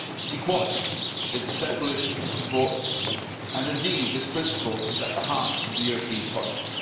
Equality is a central issue in your report, and indeed this principle is at the heart of the European project.